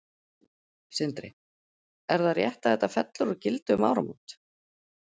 Sindri: Er það rétt að þetta fellur úr gildi um áramót?